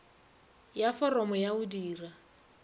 ya foromo ya go dira